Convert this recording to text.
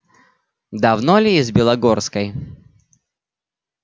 давно ли из белогорской